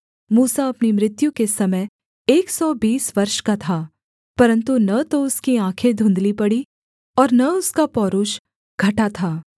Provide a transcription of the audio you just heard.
मूसा अपनी मृत्यु के समय एक सौ बीस वर्ष का था परन्तु न तो उसकी आँखें धुँधली पड़ीं और न उसका पौरूष घटा था